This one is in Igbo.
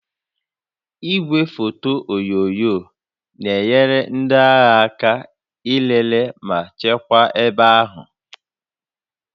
Igwefoto onyunyo na-enyere ndị agha aka ilele ma chekwaa ebe ahụ